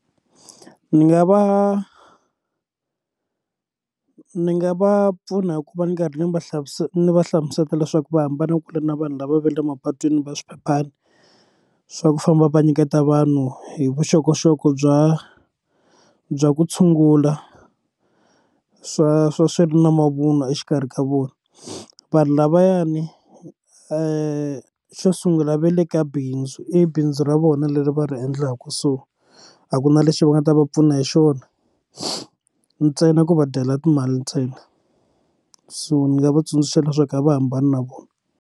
Ni nga va ni nga va pfuna hi ku va ni karhi ni va hlamusela ni va hlamusela leswaku va hambana kule na vanhu lava va le mapatwini va swiphephana swa ku famba va nyiketa vanhu hi vuxokoxoko bya bya ku tshungula swa swa swi ri na mavunwa exikarhi ka vona vanhu lavayani xo sungula va le ka bindzu i bindzu ra vona leri va ri endlaka laha kusuhi a ku na lexi va nga ta va pfuna hi xona ntsena ku va dyela timali ntsena so ni nga va tsundzuxa leswaku a va hambani na vona.